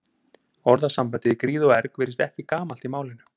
Orðasambandið í gríð og erg virðist ekki gamalt í málinu.